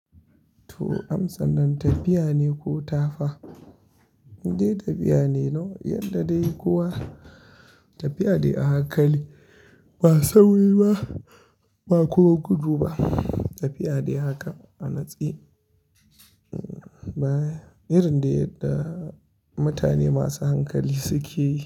To, amsan nan tafiya ne ko tafa? Indai tafiya ne, yadda dai kowa tafiya dai a hankali ba sauri ba, ba kuma gudu ba. Tafiya dai haka a natse, irin da yadda mutane masu hankali suke yi.